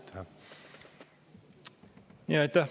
Aitäh!